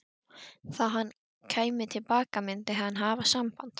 Þegar hann kæmi til baka myndi hann hafa samband.